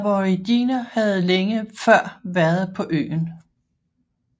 Men aboriginer havde længe før været på øen